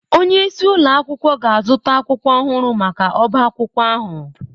Onye isi ụlọ akwụkwọ ga-azụta akwụkwọ ọhụrụ maka ọbá akwụkwọ ahụ